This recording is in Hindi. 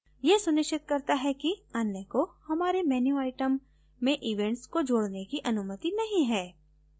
यह सुनिश्चित करता है कि अन्य को हमारे menu item में event को जोडने की अनुमति नहीं है